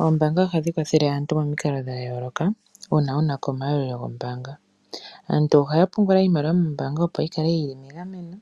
Oombaanga ohadhi kwathele aantu momikalo dha yooloka uuna wunako omayalulo gombaanga . Aantu ohaya pungula iimaliwa mombaanga opo yikale yili megameno.